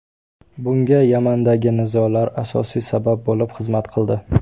Bunga Yamandagi nizolar asosiy sabab bo‘lib xizmat qildi.